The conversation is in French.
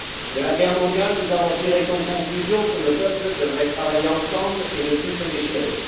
De la guerre mondiale, nous avons tiré comme conclusion que nos peuples devraient travailler ensemble et ne plus se déchirer.